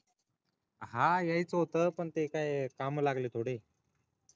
हा यायच होत ते काम लागल थोडे